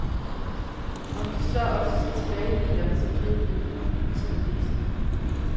Om de så også skal tilbage i bilerne som drivmiddel, må tiden vise.